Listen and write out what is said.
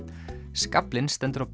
skaflinn stendur á